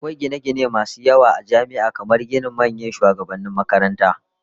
Akwai gine-gine masu yawa a jami'a, kamar ginin manyan shugabannin makaranta.